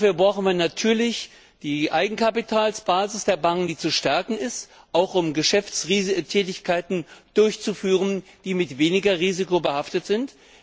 Dafür brauchen wir natürlich die Eigenkapitalsbasis der Banken, die zu stärken ist, auch um Geschäftstätigkeiten durchzuführen, die mit weniger Risiko behaftet sind.